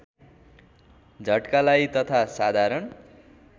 झट्कालाई तथा साधारण